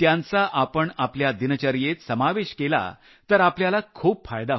त्यांचा आपण आपल्या दिनचर्येत समावेश केला तर आपल्याला खूप फायदा होईल